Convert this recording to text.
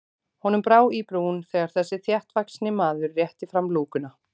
Honum brá í brún þegar þessi þéttvaxni maður rétti fram lúkuna.